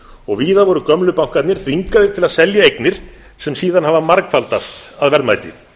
og víða voru gömlu bankarnir þvingaðir til að selja eignir sem síðan hafa margfaldast að verðmæti